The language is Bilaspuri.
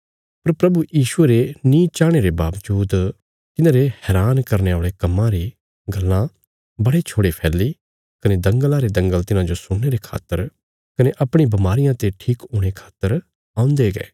पर प्रभु यीशुये रे नीं चाहणे रे बाबजूद तिन्हारे हैरान करने औल़े कम्मां री गल्लां बड़े छोड़े फैल्ली कने दंगला रे दंगल तिन्हाजो सुणने रे खातर कने अपणी बमारियां ते ठीक हुणे खातर औन्दे गये